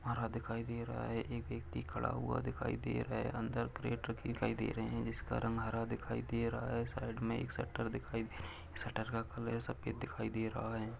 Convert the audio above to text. हरा दिखाई दे रहा है। एक व्यक्ति खड़ा हुआ दिखाई दे रहा। अंदर क्रेटर दिखाई दे रहे। जिसका रंग हरा दिखाई दे रहा है। साईड में एक शटर दिखाई दे रही। शटर का कलर सफेद दिखाई दे रहा है।